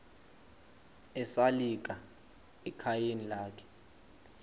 esalika ekhayeni lakhe